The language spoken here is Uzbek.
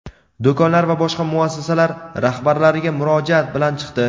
do‘konlar va boshqa muassasalar rahbarlariga murojaat bilan chiqdi.